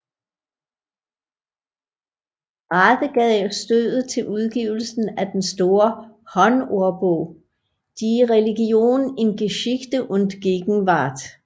Rade gav stødet til udgivelsen af den store håndordbog Die Religion in Geschichte und Gegenwart